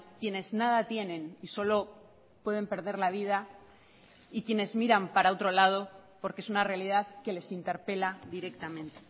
quienes nada tienen y solo pueden perder la vida y quienes miran para otro lado porque es una realidad que les interpela directamente